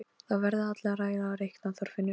Það verða allir að læra að reikna, Þorfinnur